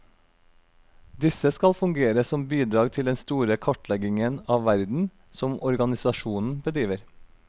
Disse skal fungere som bidrag til den store kartleggingen av verden som organisasjonen bedriver.